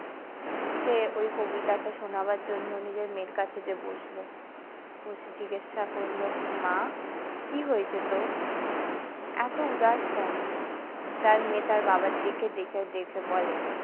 সে ওই কবিতাটা শোনাবার জন্য নিজের মেয়ের কাছে গিয়ে বসল বসে জিজ্ঞাসা করলো মা কি হয়েছে তোর এত উদাস কেন তার মেয়ে তার বাবার দিকে দেখে বলে।